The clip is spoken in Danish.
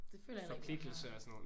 Det føler jeg heller ikke man har